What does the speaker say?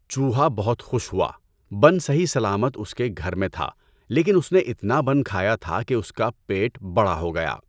چوہا بہت خوش ہوا۔ بن صحیح سلامت اس کے گھر میں تھا لیکن اس نے اتنا بن کھایا تھا کہ اس کا پیٹ بڑا ہو گیا۔